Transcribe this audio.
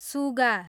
सुगा